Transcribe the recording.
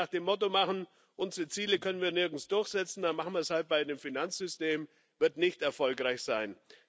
Wenn wir das nach dem Motto machen Unsere Ziele können wir nirgends durchsetzen, dann machen wir es halt beim Finanzsystem, wird das nicht erfolgreich sein.